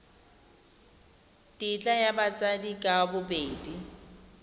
tetla ya batsadi ka bobedi